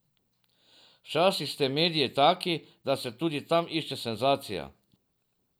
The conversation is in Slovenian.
Včasih ste mediji taki, da se tudi tam išče senzacija.